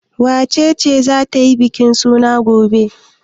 Wace ce za ta yi bikin suna gobe?